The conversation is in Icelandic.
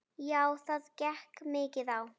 Já, það gekk mikið á.